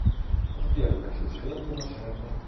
сбер хочу швейную машинку